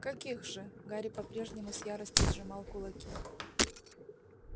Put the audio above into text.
каких же гарри по-прежнему с яростью сжимал кулаки